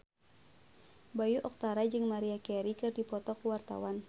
Bayu Octara jeung Maria Carey keur dipoto ku wartawan